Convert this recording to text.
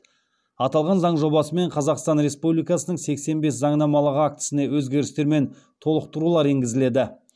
аталған заң жобасымен қазақстан республикасының сексен бес заңнамалық актісіне өзгерістер мен толықтырулар енгізіледі